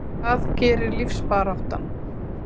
Það gerir lífsbaráttan.